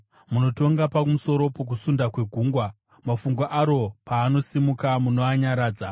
Munotonga pamusoro pokusunda kwegungwa; mafungu aro paanosimuka, munoanyaradza.